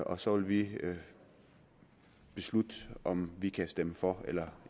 og så vil vi beslutte om vi kan stemme for eller